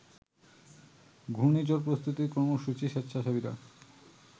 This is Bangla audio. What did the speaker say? ঘূর্ণিঝড় প্রস্তুতি কর্মসূচির স্বেচ্ছাসেবীরা